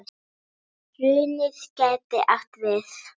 Hrunið gæti átt við